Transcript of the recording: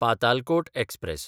Patalkot express